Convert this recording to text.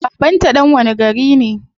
Baban ta dan wani gari ne?